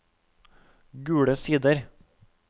Gule Sider